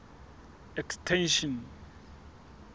extension